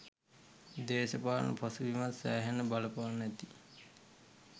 දේශපාලන පසුබිමත් සෑහෙන්න බලපාන්න ඇති.